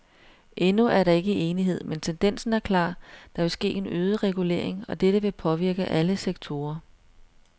Endnu er der ikke enighed, men tendensen er klar, der vil ske en øget regulering, og dette vil påvirke alle sektorer.